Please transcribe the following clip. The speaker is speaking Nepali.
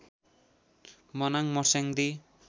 मनाङ मर्स्याङ्दी